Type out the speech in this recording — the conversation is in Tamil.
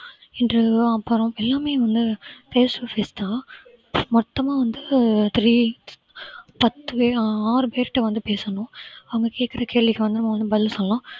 இது அப்புறம் எல்லாமே வந்து fece to face தா மொத்தமா வந்து three பத்து பேர் ஆறு பேர்கிட்ட வந்து பேசணும் அவங்க கேட்கிற கேள்விக்கு வந்து பதில் சொல்லலாம்